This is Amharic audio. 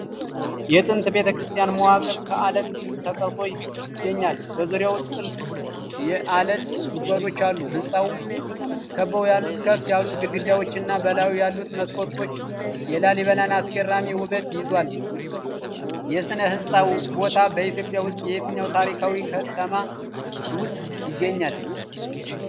የጥንት ቤተክርስቲያን መዋቅር ከዓለት ውስጥ ተቀርጾ ይገኛል። በዙሪያው ጥልቅ የዓለት ጉድጓዶች አሉ፣ ሕንፃውን ከበው ያሉት ከፍ ያሉ ግድግዳዎችና በላዩ ያሉት መስኮቶች የላሊበላን አስገራሚ ውበት ይዟል። የሥነ-ህንጻ ቦታ በኢትዮጵያ ውስጥ የትኛው ታሪካዊ ከተማ ውስጥ ይገኛል?